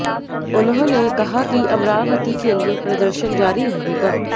उन्होंने कहा कि अमरावती के लिए प्रदर्शन जारी रहेगा